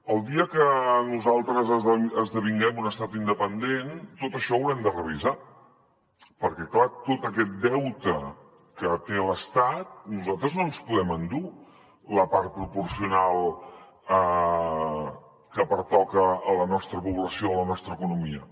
el dia que nosaltres esdevinguem un estat independent tot això ho haurem de revisar perquè clar tot aquest deute que té l’estat nosaltres no ens podem endur la part proporcional que pertoca a la nostra població de la nostra economia